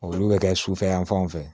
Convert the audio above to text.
Olu bɛ kɛ sufɛ yan fanw fɛ